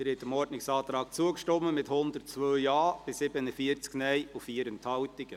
Sie haben diesem Ordnungsantrag zugestimmt, mit 102 Ja- bei 47 Nein-Stimmen und 4 Enthaltungen.